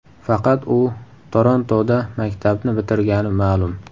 Faqat u Torontoda maktabni bitirgani ma’lum.